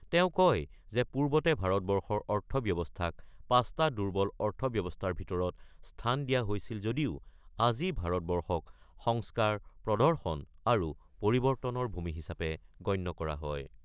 তেওঁ কয় যে পূৰ্বতে ভাৰতবৰ্ষৰ অৰ্থব্যৱস্থাক ৫টা দুৰ্বল অৰ্থব্যৱস্থাৰ ভিতৰত স্থান দিয়া হৈছিল যদিও আজি ভাৰতবৰ্ষক সংস্কাৰ, প্ৰদৰ্শন আৰু পৰিৱৰ্তনৰ ভূমি হিচাপে গণ্য কৰা হয়।